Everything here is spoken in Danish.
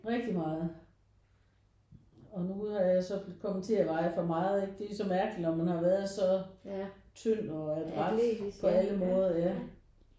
Rigtig meget og nu har jeg så kommet til at veje for meget ikke det er jo så mærkeligt når man har været så tynd og adræt på alle måder ja